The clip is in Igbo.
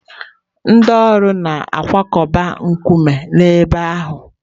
Ndị ọrụ na-akwakọba nkume n'ebe ahụ.